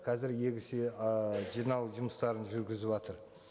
қазір ы жинау жұмыстарын жүргізіватыр